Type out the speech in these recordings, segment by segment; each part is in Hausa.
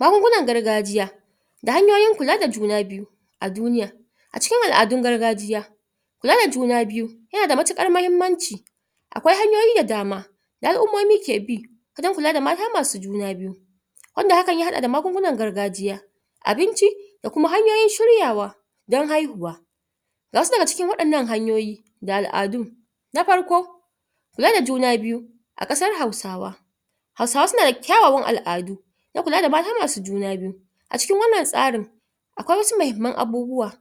Magungunan gargajiya da hanyoyin kula da juna biyu a duniya a cikin al'adun gargajiya kula da juna biyu yana da matuƙar mahimmanci akwai hanyoyi da dama da al'ummomi ke bi wajen kula da mata masu juna biyu wanda hakan ya haɗa da magungunan gargajiya abinci da kuma hanyoyin shiryawa don haihuwa ga wasu daga cikin waɗannan hanyoyi da al'adu na farko kula da juna biyu a ƙasar hausawa hausawa suna da kyawawan al'adu don kula da mata masu juna biyu a cikin wannan tsarin akwai wasu mahimman abubuwa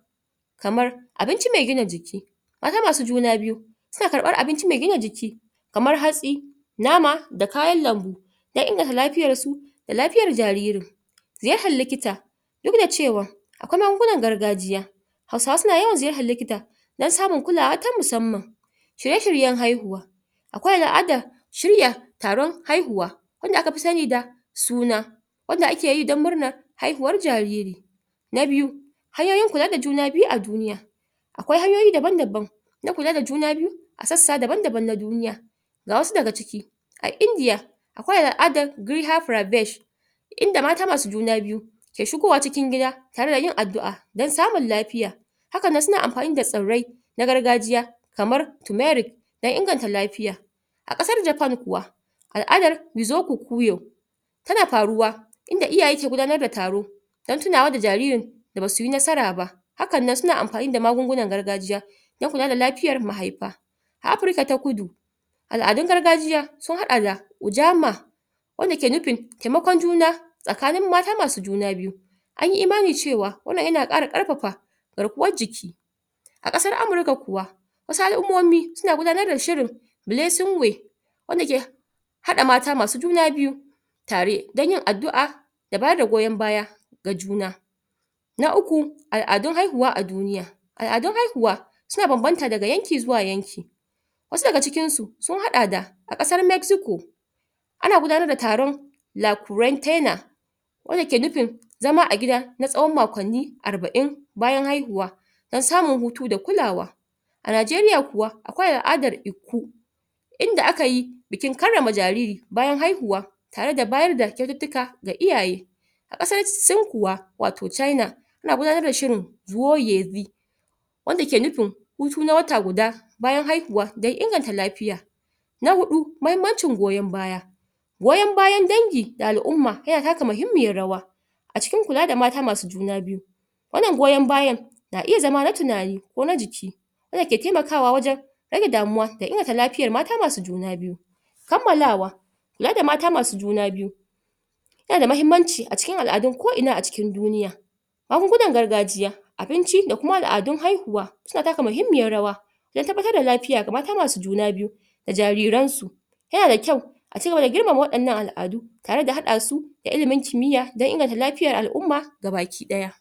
kamar abinci mai gina jiki mata masu juna biyu suna karɓar abinci mai gina jiki kamar hatsi nama da kayan lambu don inganta lafiyar su da lafiyar jariri ziyartar likita duk da cewa akwai magungunan gargajiya hausawa suna yawan ziyartar likita don samun kulawa ta musamman shirye-shiryen haihuwa akwai al'adan shirya taron haihuwa wanda aka fi sani da suna wanda ake yi don murnar haihuwar jariri na biyu hanyoyin kula da juna biyu a duniya akwai hanyoyi daban-daban don kula da juna biyu a sassa daban-daban na duniya ga wasu daga ciki a India akwai al'adan "griha pravesh" inda mata masu juna biyu ke shigowa cikin gida tare da yin addu'a don samun lafiya hakan nan suna amfani da tsirrai na gargajiya kamar turmeric don inganta lafiya a ƙasar Japan kuwa al'adar "Wizoku Kuyo" tana faruwa inda iyaye ke gudanar da taro don tunawa da jaririn da basu yi nasara ba hakan nan suna amfani da magungunan gargajiya don kula da lafiyar mahaifa a Afurka ta kudu al'adun gargajiya sun haɗa da ujama wanda ke nufin taimakon juna tsakanin mata masu juna biyu an yi imani cewa wannan yana ƙara ƙarfafa garkuwar jiki a ƙasar Amurka kuwa wasu al'ummomi suna gudanar da shirin blessing way wanda ke haɗa mata masu juna biyu tare don yin addu'a da bayar da goyon baya ga juna na uku, al'adun haihuwa a duniya al'adun haihuwa suna bambanta daga yanki zuwa yanki wasu daga cikinsu sun haɗa da a ƙasar Mexico ana gudanar da taron? wanda ke nufin zama a gida tsawon makwanni arba'in bayan haihuwa don samun hutu da kulawa a Najeriya kuwa akwai al'adan Ikku inda aka yi bikin karrama jariri bayan haihuwa tare da bayar da kyaututtuka ga iyaye a ƙasar Sin watau China ana gudanar da shirin? wanda ke nufin hutu na wata guda bayan haihuwa don inganta lafiya na huɗu mahimmancin goyon baya goyon bayan dangi da al'umma yana taka muhimmiyan rawa a cikin kula da mata masu juna biyu wannan goyon bayan na iya zama na tunani ko na jiki wanda ke taimakawa a wajen rage damuwa da inganta lafiyar mata masu juna biyu kammalawa kula da mata masu juna biyu yana da mahimmanci a cikin al'adun ko ina a cikin duniya magungunan gargajiya abinci da kuma al'adun haihuwa suna taka muhimmiyan rawa don tabbatar da lafiya ga mata masu juna biyu da jariran su yana da kyau a cigaba da girma waɗannan al'adu tare da haɗa su da ilimin kimiya don inganta lafiyar al'umma gabaki ɗaya